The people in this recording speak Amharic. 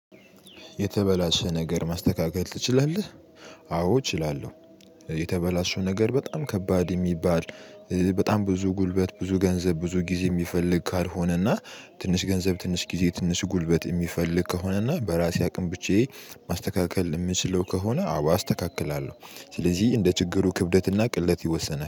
የተበላሸ ነገር ማስተካከል ትችላለህ? አዎ እችላለሁ። የተበላሸ ነገር በጣም ከባድ የሚባል። በጣም ብዙ ጉልበት ብዙ ገንዘብ ብዙ ጊዜ የሚፈልግ ካልሆነና ትንሽ ገንዘብ ትንሽ ጊዜ ትንሽ ጉልበት የሚፈልግ ከሆነና በራሴ አቅም ብቻዬ ማስተካከል ምችለው ከሆነ አው አስተካክላለሁ። ስለዚህ እንደ ችግሩ ክብደትና ቅልጥ ይወሰናል